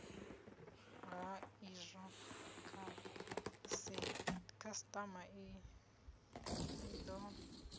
ha izwo khasitama i do